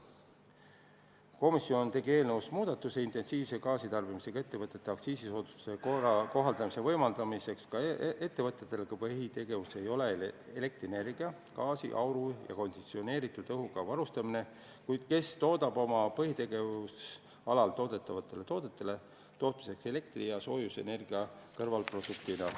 Komisjon tegi eelnõus muudatuse, mis võimaldaks intensiivse gaasitarbimisega ettevõtete aktsiisisoodustust kohaldada ka nendele ettevõtetele, kelle põhitegevusala ei ole elektrienergia, gaasi, auru ja konditsioneeritud õhuga varustamine, kuid kes toodavad oma põhitegevusalal toodetavate toodete tootmiseks elektri- ja soojusenergiat kõrvalproduktina.